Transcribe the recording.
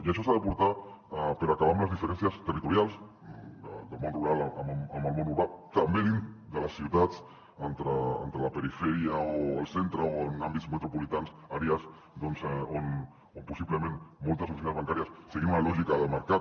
i això s’ha de portar per acabar amb les diferències territorials del món rural amb el món urbà també dins de les ciutats entre la perifèria o el centre o en àmbits metropolitans àrees doncs on possiblement moltes oficines bancàries seguint una lògica de mercat